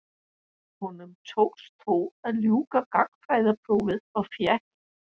Honum tókst þó að ljúka gagnfræðaprófi og fékk